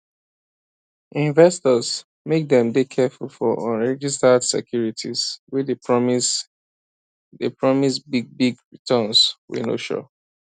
investors make dem dey careful for unregistered securities wey dey promise dey promise big big returns wey no sure